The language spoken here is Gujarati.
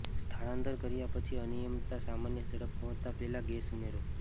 સ્થળાંતર કર્યા પછી અનિયમિતતા સામાન્ય ઝડપ પહોંચતા પહેલા ગેસ ઉમેરો